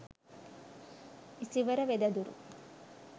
isivara wedaduru